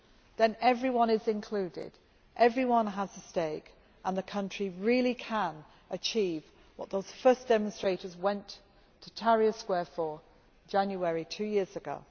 then everyone is included, everyone has a stake and the country really can achieve what those first demonstrators went to Tahrir Square for in January two years ago.